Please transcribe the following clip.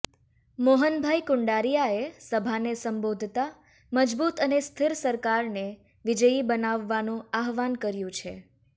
મોહનભાઇ કુંડારિયાએ સભાને સંબોધતા મજબૂત અને સ્થિર સરકારને વિજયી બનાવવાનું આહ્વાન કર્યું છે